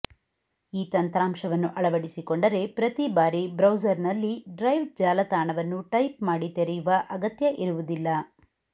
ಈ ತಂತ್ರಾಂಶವನ್ನು ಅಳವಡಿಸಿಕೊಂಡರೆ ಪ್ರತಿಬಾರಿ ಬ್ರೌಸರ್ನಲ್ಲಿ ಡ್ರೈವ್ ಜಾಲಾತಾಣವನ್ನು ಟೈಪ್ ಮಾಡಿ ತೆರೆಯುವ ಅಗತ್ಯ ಇರುವುದಿಲ್ಲ